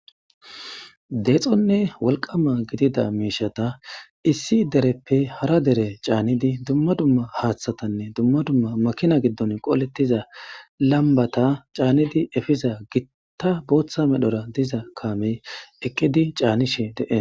Deexonne wolqama gidida miishata issi dereppe hara dere canidi dumma dumma haathatanne dumma dumma makina giddon qolletiza lambata caanidi epiza gitta bootha medhora diza kaamey eqqidi canishe de'es.